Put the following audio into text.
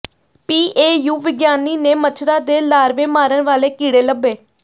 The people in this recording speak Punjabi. ਪੀਏਯੂ ਵਿਗਿਆਨੀ ਨੇ ਮੱਛਰਾਂ ਦੇ ਲਾਰਵੇ ਮਾਰਨ ਵਾਲੇ ਕੀੜੇ ਲੱਭੇ